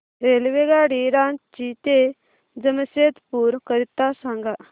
रेल्वेगाडी रांची ते जमशेदपूर करीता सांगा